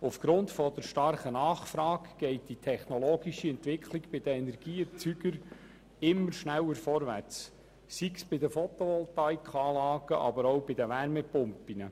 Aufgrund der starken Nachfrage geht die technologische Entwicklung bei den Energieerzeugern immer schneller vorwärts, sei es bei den Photovoltaikanlagen oder bei den Wärmepumpen.